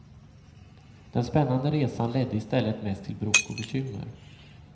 Den spännande resan ledde i stället mest till bråk och bekymmer.